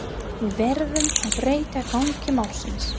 Við verðum að breyta gangi málsins.